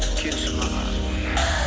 келші маған